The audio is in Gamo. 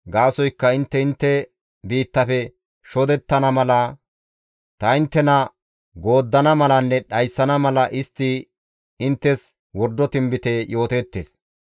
Gaasoykka intte intte biittafe shodettana mala, ta inttena gooddana malanne dhayssana mala istti inttes wordo tinbite yooteettes.